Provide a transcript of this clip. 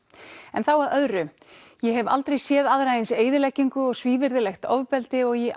en þá að öðru ég hef aldrei séð aðra eins eyðileggingu og svívirðilegt ofbeldi og í